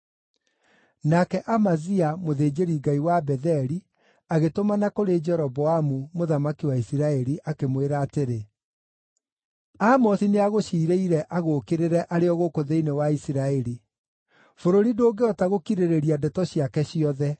Nake Amazia mũthĩnjĩri-ngai wa Betheli agĩtũmana kũrĩ Jeroboamu, mũthamaki wa Isiraeli, akĩmwĩra atĩrĩ, “Amosi nĩagũciirĩire agũũkĩrĩre arĩ o gũkũ thĩinĩ wa Isiraeli. Bũrũri ndũngĩhota gũkirĩrĩria ndeto ciake ciothe.